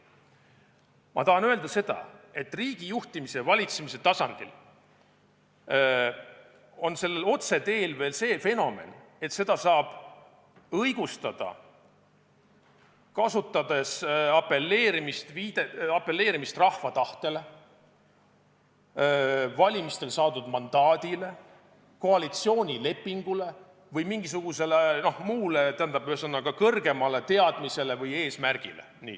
Ma tahan öelda seda, et riigi juhtimise ja valitsemise tasandil on sellel otseteel veel see fenomen, et seda saab õigustada kasutades apelleerimist rahva tahtele, valimistel saadud mandaadile, koalitsioonilepingule või mingisugusele muule kõrgemale teadmisele või eesmärgile.